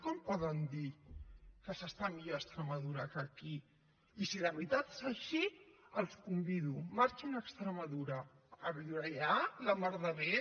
com poden dir que s’està millor a extremadura que aquí i si de veritat és així els hi convido marxin a extremadura a viure allà la mar de bé